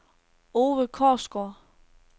Ove Korsgaard